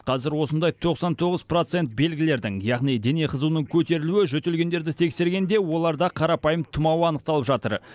қазір осындай тоқсан тоғыз процент белгілердің яғни дене қызуының көтерілуі жөтелгендерді тексергенде оларда қарапайым тымау анықталып жатыр